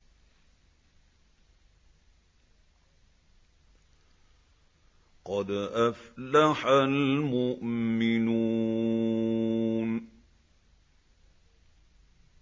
قَدْ أَفْلَحَ الْمُؤْمِنُونَ